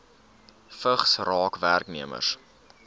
vigs raak werknemers